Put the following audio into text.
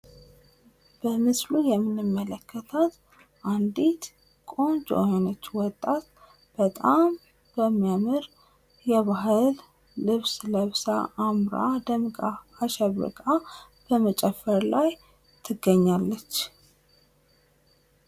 በምስሉ የምንመለከታት አንድት ቆንጆ የሆነች ወጣት በጣም የሚያምር የባህል ልብስ ለብሳ አምራ ደምቃ አሸብርቃ በመጨፈር ላይ ትገኛለች።